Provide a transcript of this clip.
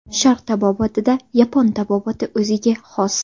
Sharq tabobatida yapon tabobati o‘ziga xos.